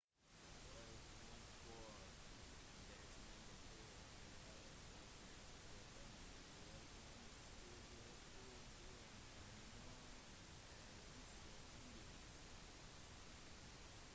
året rundt går det mange turer til revet og det forekommer sjelden skader på grunn av noen av disse tingene